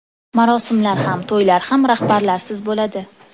Marosimlar ham, to‘ylar ham rahbarlarsiz bo‘ladi.